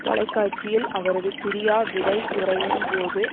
தொலைக்காட்சியில் அவரது பிரியாவிடை உரையின் போது